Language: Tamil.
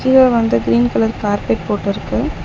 கீழ வந்து கிரீன் கலர் கார்பெட் போட்டு இருக்கு.